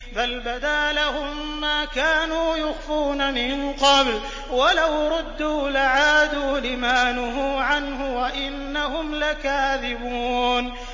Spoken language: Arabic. بَلْ بَدَا لَهُم مَّا كَانُوا يُخْفُونَ مِن قَبْلُ ۖ وَلَوْ رُدُّوا لَعَادُوا لِمَا نُهُوا عَنْهُ وَإِنَّهُمْ لَكَاذِبُونَ